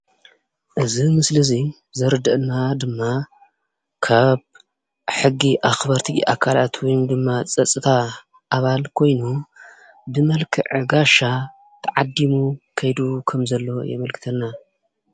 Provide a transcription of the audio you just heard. እዚ ምስሊ እዙይ ዘረደኣና ድማ ካብ ሕጊ ኣኽበርቲ ኣካላት ወይ ድማ ፀፅታ ኣባል ኮይኑ ብመልክዐ ጋሻ ተዓዲሙ ከይዱ ከም ዘሎ የመልክተና።